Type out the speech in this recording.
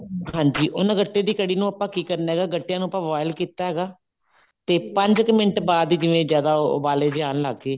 ਹਾਂਜੀ ਉਹਨਾ ਗੱਟੇ ਦੀ ਕੜ੍ਹੀ ਨੂੰ ਆਪਾਂ ਕੀ ਕਰਨਾ ਗੱਟਿਆਂ ਨੂੰ ਆਪਾਂ boil ਕੀਤਾ ਹੈਗਾ ਤੇ ਪੰਜ ਕੁ ਮਿੰਟ ਬਾਅਦ ਜਿਵੇਂ ਜਿਆਦਾ ਉਬਾਲੇ ਜੇ ਆਉਣ ਲੱਗ ਗਏ